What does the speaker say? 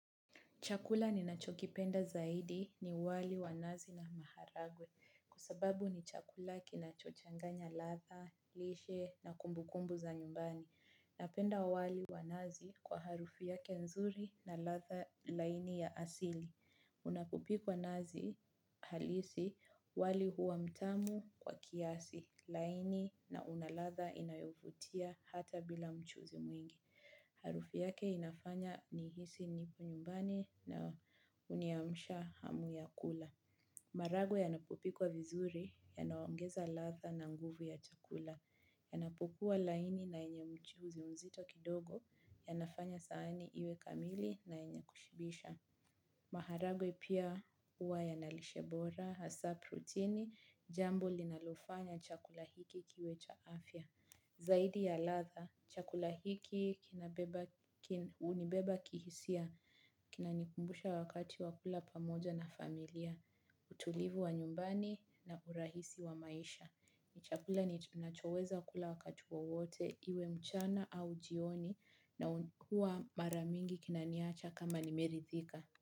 Chakula ninachokipenda zaidi ni wali wa nazi na maharagwe kwasababu ni chakula kinachochanganya ladha, lishe na kumbu kumbu za nyumbani. Napenda wali wa nazi kwa harufi yake nzuri na ladha laini ya asili. Unapopikwa nazi halisi wali huwa mtamu kwa kiasi laini na una ladha inayovutia hata bila mchuzi mwingi. Harufu yake inafanya nihisi nipo nyumbani na huniamsha hamu ya kula. Maharagwe yanapopikwa vizuri yanaongeza ladha na nguvu ya chakula. Yanapokuwa laini na yenye mchuzi mzito kidogo, yanafanya sahani iwe kamili na yenye kushibisha. Maharagwe pia huwa yana lishebora, hasa protini, jambo linalofanya chakula hiki kiwe cha afya. Zaidi ya ladha, chakula hiki kina beba, hunibeba kihisia, kinanikumbusha wakati wa kula pamoja na familia, utulivu wa nyumbani na urahisi wa maisha. Ni chakula ninachoweza kula wakati wowote, iwe mchana au jioni na huwa mara mingi kinaniacha kama nimeridhika.